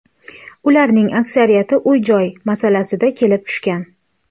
Ularning aksariyati uy-joy masalasida kelib tushgan.